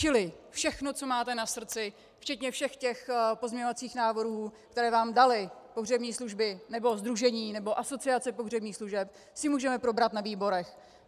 Čili všechno, co máte na srdci, včetně všech těch pozměňovacích návrhů, které vám daly pohřební služby nebo sdružení nebo Asociace pohřebních služeb, si můžeme probrat na výborech.